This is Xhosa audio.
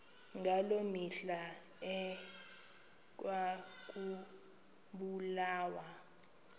ngaloo mihla ekwakubulawa